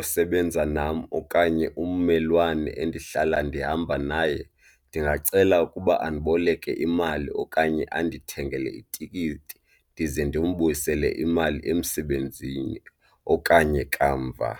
osebenza nam okanye ummelwane endihlala ndihamba naye ndingacela ukuba andiboleke imali okanye andithengile itikiti ndize ndimbuyisele imali emsebenzini okanye kamva.